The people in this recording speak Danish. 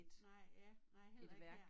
Nej ja nej heller ikke her